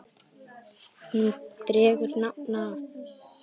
Hún dregur nafn af